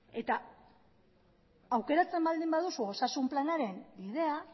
aukeratzen baldin baduzu osasun planaren bidea